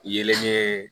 Yelen